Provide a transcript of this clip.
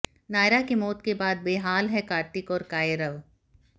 नायरा के मौत के बाद बेहाल है कार्तिक और कायरव